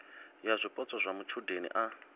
ya zwipotso zwa matshudeni a